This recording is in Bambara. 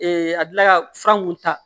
a dila ka fura mun ta